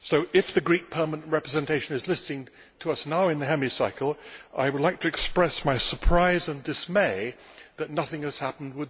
If the Greek Permanent Representation is listening to us now in the Hemicycle, I would like to express my surprise and dismay that nothing has happened.